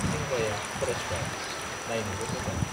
सोंग्राया फरेष्टार, नाइनोबो मोजां।